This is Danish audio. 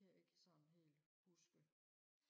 kan jeg ikke sådan helt huske